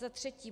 Za třetí.